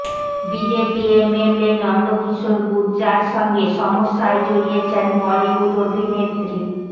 BJP MLA Nandkishor Gurjar সঙ্গে সমস্যায় জড়িয়েছেন বলিউড অভিনেত্রী